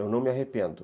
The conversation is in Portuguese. Eu não me arrependo.